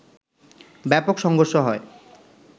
ব্যাপক সংঘর্ষ হয়